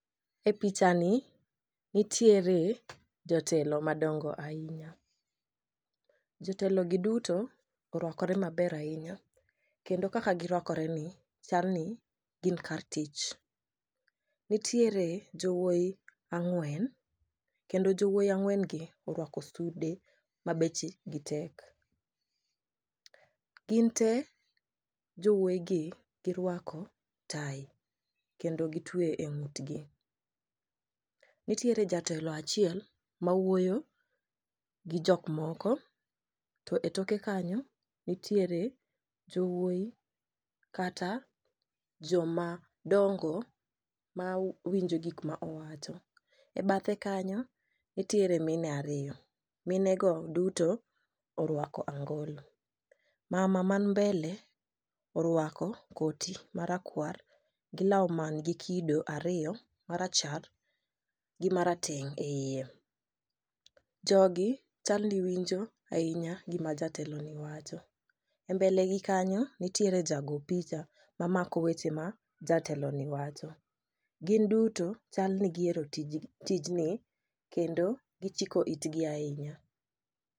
E picha ni nitiere jotelo madongo ahinya. Jotelo gi duto orwakore maber ahinya kendo kaka girwakore ni chal ni gin kar tich. Nitiere jowuoyi ang'wen kendo jowuoyi ang'wen gi orwako sude ma bechgi tek. Gin te jowuoyi gi girwako tai kendo gitwe e ng'utgi. Nitiere jatelo achiel ma wuoyo gi jok moko to e toke kanyo nitiere jowuoyi kata joma dongo ma winjo gima owacho e bathe kanyo nitiere mine ariyo mine go duto orwako angolo. Mama man mbele orwako koti marakwar gi law man gi kido ariyo marachar gi marateng' e iye . Jogi chal ni winjo ahinya gima jatelo ni wancho e mbele gi kanyo nitiere jago picha ma mako weche ma jatelo ni wacho. Gin duto chal ni gihero ti tijni kendo gichiko itgi ahinya.